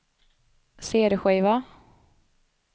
cd-skiva